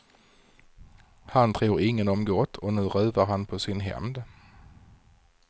Han tror ingen om gott och nu ruvar han på sin hämnd.